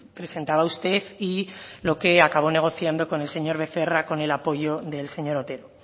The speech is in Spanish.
presentaba usted y lo que acabo negociando con el señor becerra con el apoyo del señor otero